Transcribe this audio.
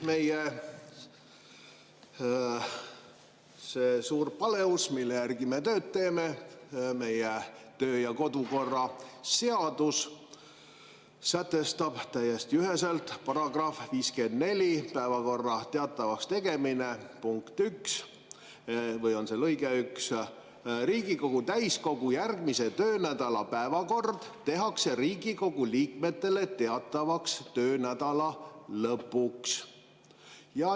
Meie see suur paleus, mille järgi me tööd teeme, meie töö‑ ja kodukorra seadus sätestab täiesti üheselt § 54 "Päevakorra teatavakstegemine" punktis 1 või lõikes 1: "Riigikogu täiskogu järgmise töönädala päevakord tehakse Riigikogu liikmetele teatavaks töönädala lõpuks.